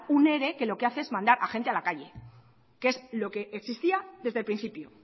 un ere que lo que hace es mandar a la gente a la calle que es lo que existía desde el principio